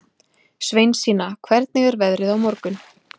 Sveinsína, hvernig er veðrið á morgun?